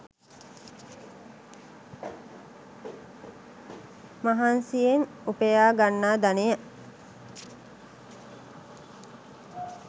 මහන්සියෙන් උපයා ගන්නා ධනය